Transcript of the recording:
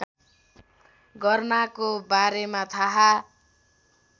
गर्नाको बारेमा थाहा